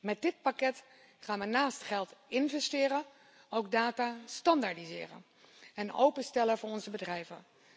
Met dit pakket gaan we naast geld investeren ook data standaardiseren en openstellen voor onze bedrijven.